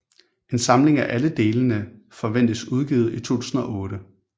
En samling af alle delene forventes udgivet i 2008